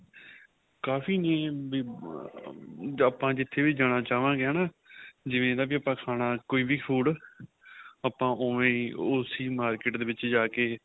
ਕਾਫ਼ੀ ਨੇ ਵੀ ਆਪਾਂ ਜਿਥੇ ਵੀ ਜਾਣਾ ਚਾਵਾਗੇ ਹੈਨਾ ਜਿਵੇਂ ਇਹਦਾ ਕੋਈ ਵੀ ਖਾਣਾ ਕੋਈ ਵੀ food ਆਪਾਂ ਉਵੇਂ ਹੀ ਉਸੀਂ market ਦੇ ਵਿੱਚ ਜਾਕੇ